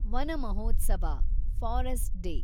Vana Mahotsava , forest day